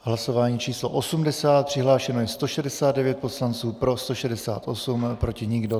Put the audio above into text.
Hlasování číslo 80, přihlášeno je 169 poslanců, pro 168, proti nikdo.